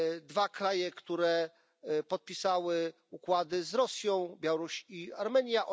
Dwa kraje, które podpisały układy z Rosją, Białoruś i Armenia.